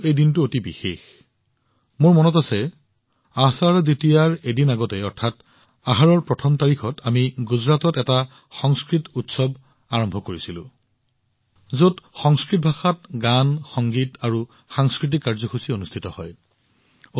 সেয়েহে এই দিনটো মোৰ বাবে অতি বিশেষ মোৰ মনত আছে আষাধা দ্বিতীয়াৰ এদিন আগতে অৰ্থাৎ আহাৰৰ প্ৰথম তাৰিখত আমি গুজৰাটত এটা সংস্কৃত উৎসৱ আৰম্ভ কৰিছিলো যত সংস্কৃত ভাষাত গান সংগীত আৰু সাংস্কৃতিক কাৰ্যসূচী উদযাপন কৰা হয়